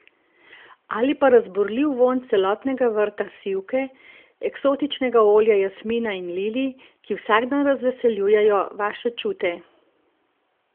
Ali pa razburljiv vonj celotnega vrta sivke, eksotičnega olja jasmina in lilij, ki vsak dan razveseljujejo vaše čute?